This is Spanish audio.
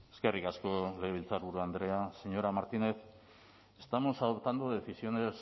eskerrik asko legebiltzarburu andrea señora martínez estamos adoptando decisiones